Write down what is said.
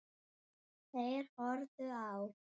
Þeir horfðu á.